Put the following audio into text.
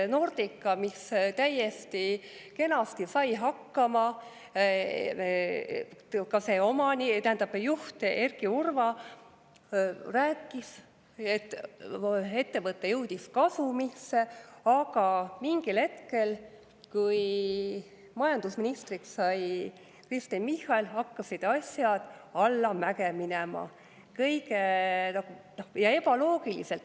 Nordica sai täiesti kenasti hakkama, ka selle juht Erki Urva rääkis, et ettevõte jõudis kasumisse, aga mingil hetkel, kui majandusministriks sai Kristen Michal, hakkasid asjad ebaloogiliselt allamäge minema.